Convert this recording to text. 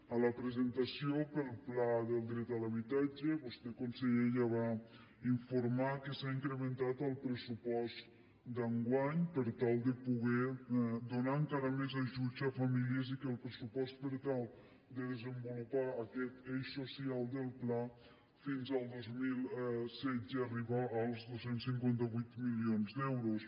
a la presentació del pla per al dret a l’habitatge vostè conseller ja va informar que s’ha incrementat el pressupost d’enguany per tal de poder donar encara més ajuts a famílies i que el pressupost per tal de desenvolupar aquest eix social del pla fins al dos mil setze arriba als dos cents i cinquanta vuit milions d’euros